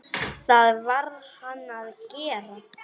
Það varð hann að gera.